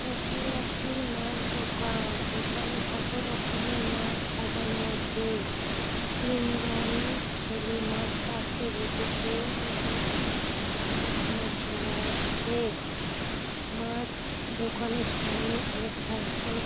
এটি একটি মাছ দোকান। দোকানে কত রকমের মাছ সাজানো আছে। তিনজন ছেলে মাছ কাটতে বসেছ দোকানে কতজন কিনার জন্য আসসে । মাছ দোকানের সামনে অনেক সাইকেল --